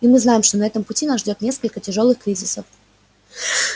и мы знаем что на этом пути нас ждёт несколько тяжёлых кризисов